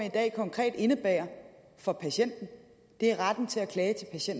i dag konkret indebærer for patienterne er retten til at klage